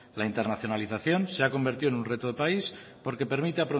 la internacionalización se ha convertido en un reto de país porque permite